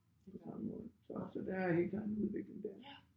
På samme måde så så der er helt klart en udvikling der